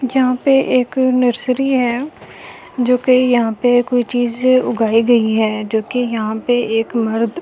यहां पे एक नर्सरी है जो के यहां पे कोई चीजें उगाई गई हैं जो के यहां पे एक मर्द --